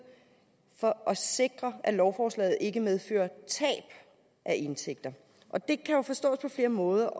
for at sikre at lovforslaget ikke medfører tab af indtægter og det kan jo forstås på flere måder